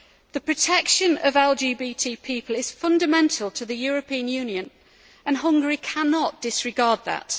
The protection of LGBT people is fundamental to the European Union, and Hungary cannot disregard that.